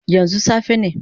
Yanzu safe ne?